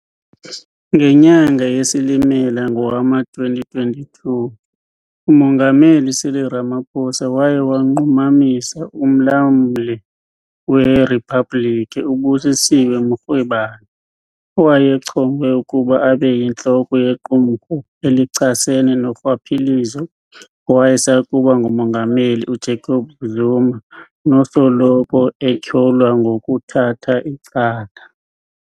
Ngenyanga yeSilimela ngowama-2022, uMongameli Cyril Ramaphosa waye wanqumamisa uMlamli weRiphabhliki uBusisiwe Mkhwebane, owayechongwe ukuba abe yintloko yequmrhu elichasene norhwaphilizo ngowayesakuba nguMongameli uJacob Zuma nosoloko etyholwa ngokuthatha icala.